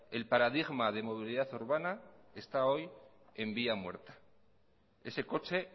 el paradigma de movilidad urbana está hoy en vía muerta ese coche